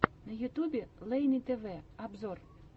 на ютюбе лейни тв обзор